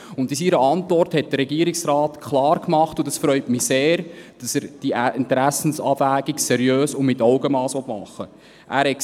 In seiner Antwort hat der Regierungsrat klar gemacht – und das freut mich sehr –, dass er diese Interessenabwägung seriös und mit Augenmass machen will.